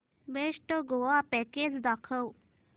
best Goa package दाखव